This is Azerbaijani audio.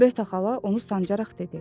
Qreta xala onu sancaraq dedi.